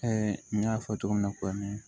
n y'a fɔ cogo min na tuma min